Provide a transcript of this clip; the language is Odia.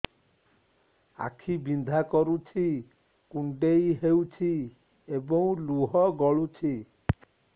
ଆଖି ବିନ୍ଧା କରୁଛି କୁଣ୍ଡେଇ ହେଉଛି ଏବଂ ଲୁହ ଗଳୁଛି